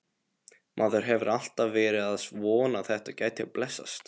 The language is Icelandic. Maður hefur alltaf verið að vona að þetta gæti blessast.